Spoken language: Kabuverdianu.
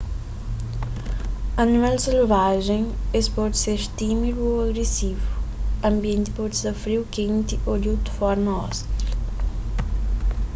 animal selvajen es pode ser tímidu ô agresivu anbienti pode sta friu kenti ô di otu forma ostil